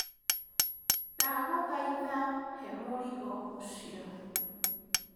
Ndagũthaitha he mũrigo ũcio.